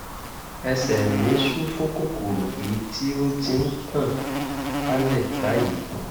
ẹsẹ̀ mí ṣú fún kòkòrò èyí tí ó ti ń tàn kálẹ̀ báyìí